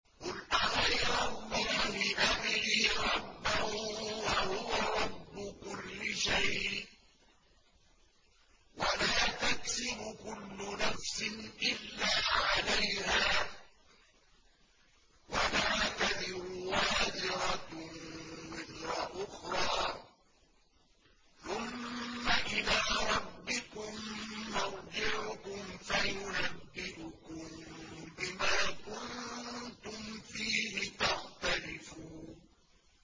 قُلْ أَغَيْرَ اللَّهِ أَبْغِي رَبًّا وَهُوَ رَبُّ كُلِّ شَيْءٍ ۚ وَلَا تَكْسِبُ كُلُّ نَفْسٍ إِلَّا عَلَيْهَا ۚ وَلَا تَزِرُ وَازِرَةٌ وِزْرَ أُخْرَىٰ ۚ ثُمَّ إِلَىٰ رَبِّكُم مَّرْجِعُكُمْ فَيُنَبِّئُكُم بِمَا كُنتُمْ فِيهِ تَخْتَلِفُونَ